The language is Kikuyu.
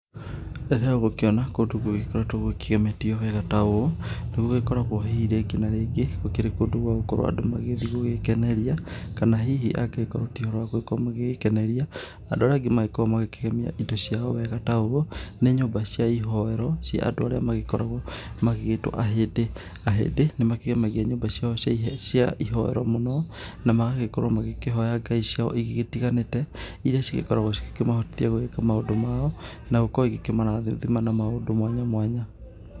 Rĩrĩa ũgũkĩona kũndũ gũgĩkoretwo gũkĩgemetio wega ta ũũ nĩ gũgĩkoragwo hihi rĩngĩ na rĩngĩ gũkĩrĩ kũndũ gwa gũkorwo andũ magĩgĩthiĩ gwĩkeneria. Kana hihi angĩgĩkorwo ti ũhoro wa gũkorwo magĩgĩkeneria, andũ arĩa angĩ magĩkoragwo magĩkĩgemia indo ciao wega ta ũũ nĩ nyũmba cia ihoero, cia andũ arĩa magĩkoragwo magĩgĩtwo ahĩndĩ. Ahĩndĩ nĩ makĩgemagia nyũmba ciao cia ihoero mũno na magagĩkorwo magĩkĩhoya ngai ciao igĩtiganĩte. Iria cigĩkoragwo cikĩmahotithia gũgĩka maũndũ mao na gũkorwo igĩkĩmarathima na maũndũ mwanya mwanya.